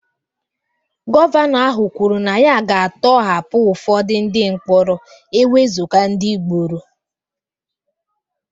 Gọvanọ ahụ kwuru na ya ga-atọhapụ ụfọdụ ndị mkpọrọ ewezuga ndị gburu